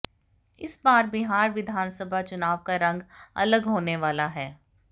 इस बार बिहार विधानसभा चुनाव का रंग अलग होने वाला है